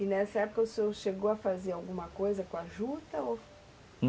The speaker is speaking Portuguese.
E nessa época o senhor chegou a fazer alguma coisa com a juta ou